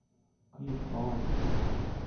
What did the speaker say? клип хованского